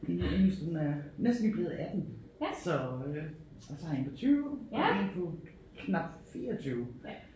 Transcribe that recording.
Min yngste hun er næsten lige blevet 18 så øh og så har jeg én på 20 og én på knap 24